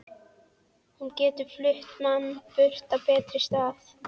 Hún getur flutt mann burt á betri stað.